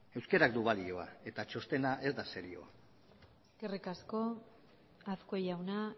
euskarak du balioa eta txostena ez da serioa eskerrik asko azkue jauna